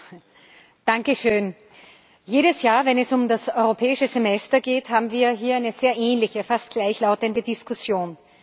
Herr Präsident! Jedes Jahr, wenn es um das Europäische Semester geht, haben wir hier eine sehr ähnliche, fast gleichlautende, Diskussion.